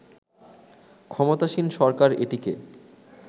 ক্ষমতাসীন সরকার এটিকে